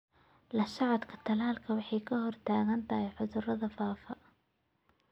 La socodka talaalka waxay ka hortagtaa cudurada faafa.